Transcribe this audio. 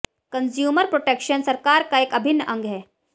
consumer protection सरकार का एक अभिन्न अंग है